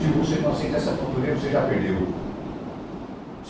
Se você não aceita essa cantoria, você já perdeu.